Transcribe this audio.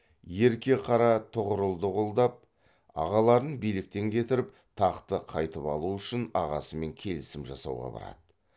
ерке қара тұғырылды қолдап ағаларын биліктен кетіріп тақты қайтып алу үшін ағасымен келісім жасауға барады